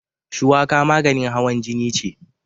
Shuwaka maganin hawan jini ce.